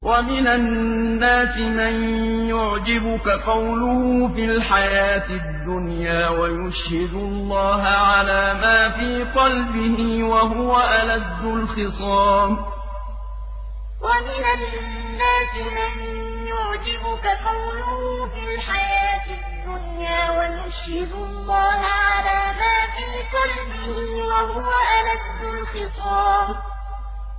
وَمِنَ النَّاسِ مَن يُعْجِبُكَ قَوْلُهُ فِي الْحَيَاةِ الدُّنْيَا وَيُشْهِدُ اللَّهَ عَلَىٰ مَا فِي قَلْبِهِ وَهُوَ أَلَدُّ الْخِصَامِ وَمِنَ النَّاسِ مَن يُعْجِبُكَ قَوْلُهُ فِي الْحَيَاةِ الدُّنْيَا وَيُشْهِدُ اللَّهَ عَلَىٰ مَا فِي قَلْبِهِ وَهُوَ أَلَدُّ الْخِصَامِ